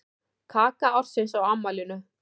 Kaka ársins á afmælinu